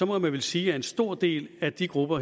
må man vel sige at en stor del af de grupper